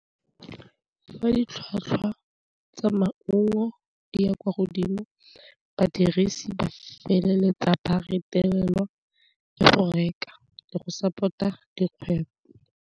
Fa ditlhwatlhwa tsa maungo di ya kwa godimo badirisi ba feleletsa ba retelelwa ke go reka le go support-a dikgwebo.